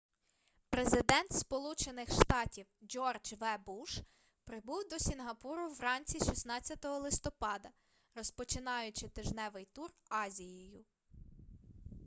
президент сполучених штатів джордж в буш прибув до сінгапуру вранці 16 листопада розпочинаючи тижневий тур азією